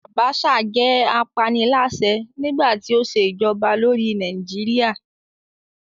Abacha jẹ́ apaniláṣẹ́ nígbàtí ó ṣe ìjọba lórí Nàìjíríà